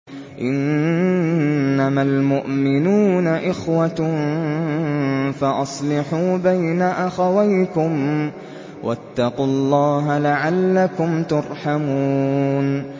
إِنَّمَا الْمُؤْمِنُونَ إِخْوَةٌ فَأَصْلِحُوا بَيْنَ أَخَوَيْكُمْ ۚ وَاتَّقُوا اللَّهَ لَعَلَّكُمْ تُرْحَمُونَ